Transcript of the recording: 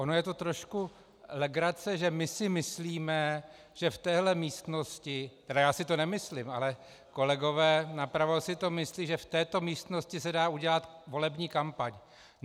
Ono je to trošku legrace, že my si myslíme, že v téhle místnosti - tedy já si to nemyslím, ale kolegové napravo si to myslí - že v této místnosti se dá udělat volební kampaň.